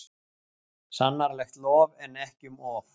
Sannarlegt lof er ekki um of.